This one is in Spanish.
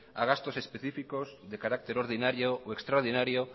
a gastos específicos de carácter ordinario o extraordinario